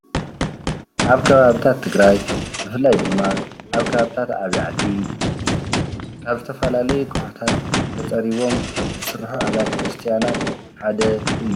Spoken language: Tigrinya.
ኣብ ከባቢታት ትግራይ ብፍላይ ድማ ኣብ ከባቢታት ዓብይ ዓዲ ካብ ዝተፈላለዩ ኮውሕታት ተፀሪቦም ዝስርሑ ኣብያተ ክርስትያ ሓደ እዩ።